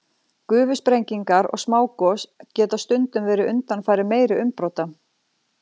Gufusprengingar og smágos geta stundum verið undanfari meiri umbrota.